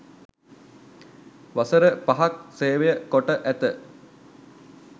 වසර පහක් සේවය කොට ඇත